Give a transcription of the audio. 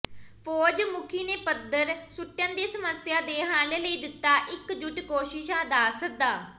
ਫ਼ੌਜ ਮੁਖੀ ਨੇ ਪੱਥਰ ਸੁੱਟਣ ਦੀ ਸਮੱਸਿਆ ਦੇ ਹੱਲ ਲਈ ਦਿੱਤਾ ਇਕਜੁੱਟ ਕੋਸ਼ਿਸ਼ਾਂ ਦਾ ਸੱਦਾ